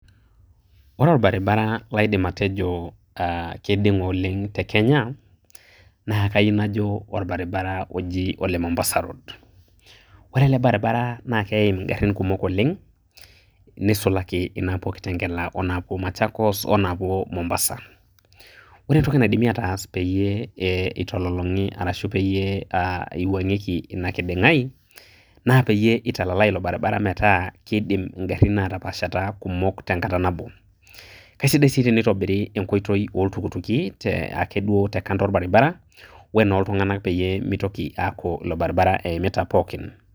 Ore orbaribara laidim atejo keidinga oleng te Kenya. Naa orbaribara oji ole Mombasa road. Ore ele baribara naa keim ingarin kumok oleng neisulaki inaapuo Kitengela, o Machakos onaapuo Mombasa. Ore entoki entoki naidimi aatas peyie eiwuangieki ashu peyie eitololongiki ena kidingae naa peyie eitalalie ilo baribara metaa keidim ingarin kumok ataapashata tewueji nebo. Keisida naaji sii teneitobiri enkoitoi ooltukutuki wenooltunganak te kando orbaribara peyie meitoki aaku ilo baribara eimita pookin